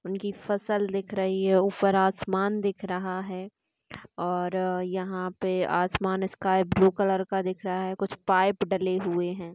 उनकी फसल दिख रही है। ऊपर आसमान दिख रहा है और यहा पे आसमान स्काइ ब्लू कलर का दिक रहा है। कुछ पाइप डले हुए है।